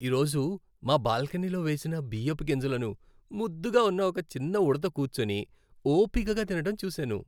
ఈ రోజు మా బాల్కనీలో వేసిన బియ్యపు గింజలను ముద్దుగా ఉన్న ఒక చిన్న ఉడుత కూర్చుని, ఓపికగా తినడం చూశాను.